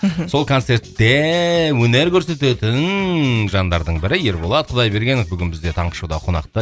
мхм сол концертте өнер көрсететін жандардың бірі ерболат құдайбергенов бүгін бізде таңғы шоуда қонақта